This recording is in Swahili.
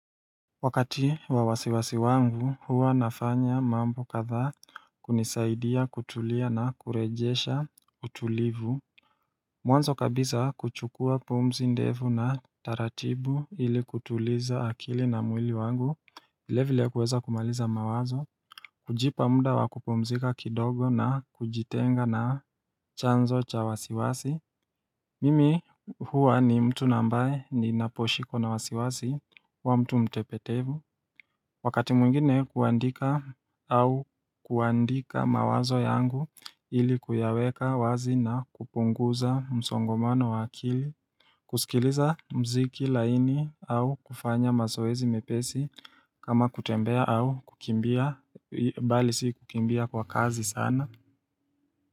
Wakati wa wasiwasi wangu huwa nafanya mambo kadhaa kunisaidia kutulia na kurejesha utulivu. Mwanzo kabisa kuchukua pumzi ndefu na taratibu ili kutuliza akili na mwili wangu, vilevile kuweza kumaliza mawazo kujipa muda wa kupumzika kidogo na kujitenga na chanzo cha wasiwasi Mimi huwa ni mtu ambaye ninaposhikwa na wasiwasi huwa mtu mtepetevu Wakati mwingine huandika au kuandika mawazo yangu ilikuyaweka wazi na kupunguza msongamano wa akili kusikiliza muziki laini au kufanya mazoezi mepesi kama kutembea au kukimbia bali si kukimbia kwa kasi sana.